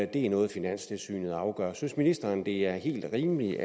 det er noget finanstilsynet afgør synes ministeren det er helt rimeligt